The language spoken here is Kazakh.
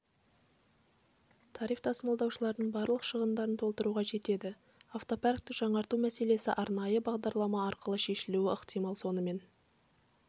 тариф тасымалдаушылардың барлық шығындарын толтыруға жетеді автопаркті жаңарту мәселесі арнайы бағдарлама арқылы шешілуі ықтимал сонымен